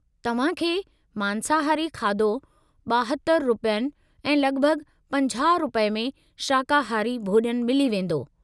तव्हां खे मांसाहारी खाधो 72 रुपयनि ऐं लॻिभॻि 50 रुपये में शाकाहारी भोॼनु मिली वेंदो।